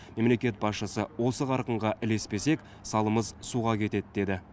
мемлекет басшысы осы қарқынға ілеспесек салымыз суға кетеді деді